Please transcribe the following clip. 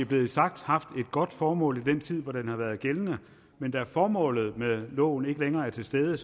blevet sagt haft et godt formål i den tid hvor den har været gældende men da formålet med loven ikke længere er til stede